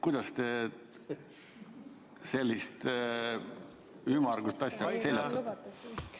Kuidas te sellist ümmargust asja seljatate?